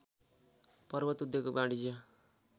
पर्वत उद्योग वाणिज्य